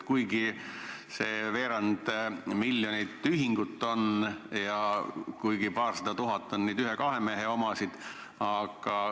Meil on need veerand miljonit ühingut ja kuigi paarsada tuhat on ühe-kahe mehe omasid.